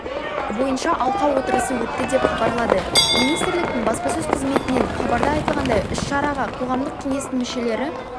бойынша алқа отырысы өтті деп хабарлады министрліктің баспасөз қызметінен хабарда айтылғандай іс-шараға қоғамдық кеңестің мүшелері